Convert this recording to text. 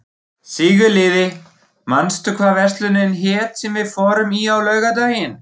Sigurliði, manstu hvað verslunin hét sem við fórum í á laugardaginn?